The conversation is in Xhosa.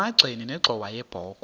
emagxeni nenxhowa yebokhwe